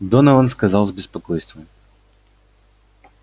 донован сказал с беспокойством